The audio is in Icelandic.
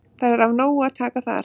Það er af nógu að taka þar.